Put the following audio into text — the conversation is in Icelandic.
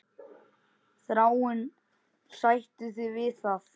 Þráinn, sættu þig við það!